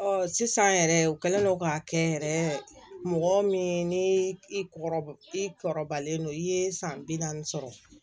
sisan yɛrɛ u kɛlen don k'a kɛ yɛrɛ mɔgɔ min ni i kɔrɔbalen don i ye san bi naani sɔrɔ